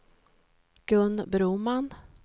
Gun Broman